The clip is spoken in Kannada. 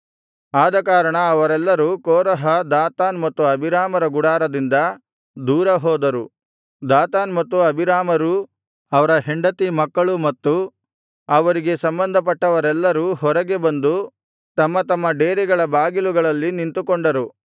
ಆದಕಾರಣ ಅವರೆಲ್ಲರೂ ಕೋರಹ ದಾತಾನ್ ಮತ್ತು ಅಬೀರಾಮರ ಗುಡಾರದಿಂದ ದೂರ ಹೋದರು ದಾತಾನ್ ಮತ್ತು ಅಬೀರಾಮರೂ ಅವರ ಹೆಂಡತಿ ಮಕ್ಕಳು ಮತ್ತು ಅವರಿಗೆ ಸಂಬಂಧಪಟ್ಟವರೆಲ್ಲರೂ ಹೊರಗೆ ಬಂದು ತಮ್ಮ ತಮ್ಮ ಡೇರೆಗಳ ಬಾಗಿಲುಗಳಲ್ಲಿ ನಿಂತುಕೊಂಡರು